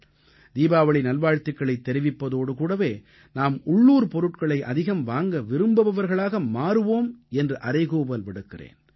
தீபாவளி நல்வாழ்த்துக்களைத் தெரிவிப்பதோடு கூடவே நாம் உள்ளூர் பொருட்களை அதிகம் வாங்க விரும்புபவர்களாக மாறுவோம் என்று அறைகூவல் விடுக்கிறேன்